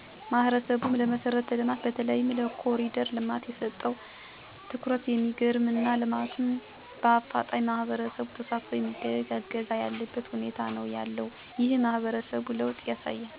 ማህበረሰቡ ለመሰረት ልማት በተለይም ለኮሪደር ልማት የሰጠው ትኩረት የሚገርም እና ልማቱም በአፋጣኝ ማህበረሰቡ ተሳትፎ በማድረግ እያገዘ ያለበት ሁኔታ ነው ያለው። ይህም የማህበረሰቡን ለወጥ ያሳያል።